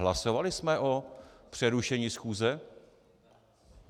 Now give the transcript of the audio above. Hlasovali jsme o přerušení schůze?